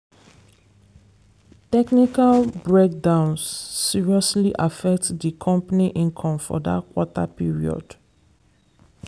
technical breakdowns seriously affect di company income for that quarter period.